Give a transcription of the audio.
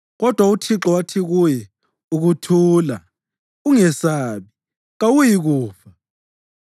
Kodwa uThixo wathi kuye, “Ukuthula! Ungesabi. Kawuyikufa.”